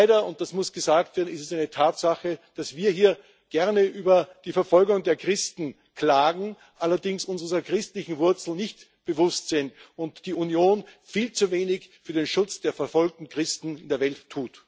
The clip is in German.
Leider und das muss gesagt werden ist es eine Tatsache, dass wir hier gerne über die Verfolgung der Christen klagen, uns allerdings unserer christlichen Wurzeln nicht bewusst sind und dass die Union viel zu wenig für den Schutz der verfolgten Christen in der Welt tut.